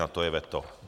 Na to je veto